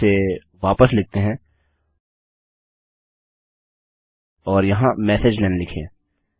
इसे वापस लिखते हैं और यहाँ मेसेजलेन लिखें